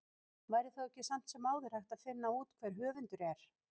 væri þá ekki samt sem áður hægt að finna út hver höfundur er